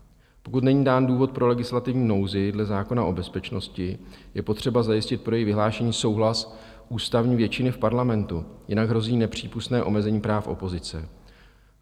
Pokud není dán důvod pro legislativní nouzi dle zákona o bezpečnosti, je potřeba zajistit pro její vyhlášení souhlas ústavní většiny v parlamentu, jinak hrozí nepřípustné omezení práv opozice.